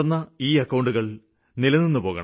തുറന്ന അക്കൌണ്ടുകള് തടസ്സപ്പെടരുത്